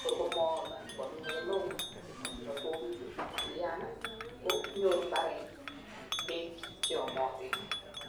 kor komoyome ngonyo kemeut anan kolian konyoru mbaret beek cheyomotin.